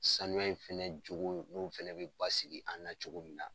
Sanu in fɛnɛ jogo n'o fɛnɛ bɛ basigi an na cogo min na.